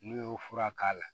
N'u y'o fura k'a la